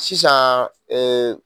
Sisan ee